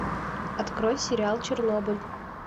открой сериал чернобыль